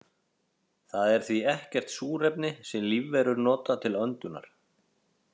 Þar er því ekkert súrefni sem lífverur nota til öndunar.